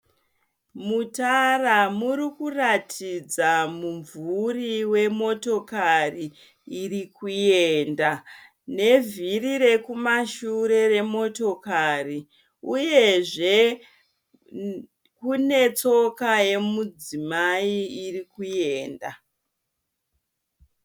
Mutara murikuratidza mumvuri wemotokari iri kuenda nevhiri rekumashure remotokari uyezve kune tsoka yemudzimai irikuenda.